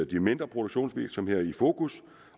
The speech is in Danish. de mindre produktionsvirksomheder i fokus